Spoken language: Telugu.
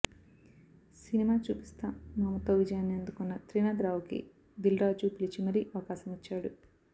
సినిమా చూపిస్త మామతో విజయాన్ని అందుకొన్న త్రినాథ్ రావుకి దిల్రాజు పిలిచి మరీ అవకాశమిచ్చాడు